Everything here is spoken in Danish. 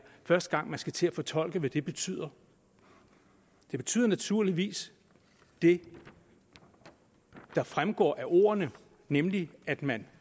første gang man skal til at fortolke hvad det betyder det betyder naturligvis det der fremgår af ordene nemlig at man